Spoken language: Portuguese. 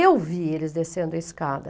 Eu vi eles descendo a escada.